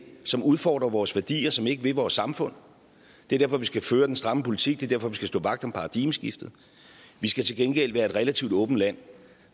som udfordrer vores værdier som ikke vil vores samfund det er derfor vi skal føre den stramme politik er derfor vi skal stå vagt om paradigmeskiftet vi skal til gengæld være et relativt åbent land